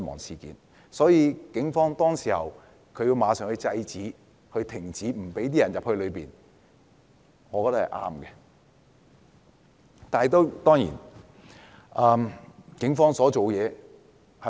所以，警方當時要馬上制止示威者進入立法會內，我認為這做法是正確的。